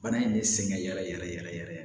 Bana in de sɛgɛn yɛrɛ yɛrɛ yɛrɛ yɛrɛ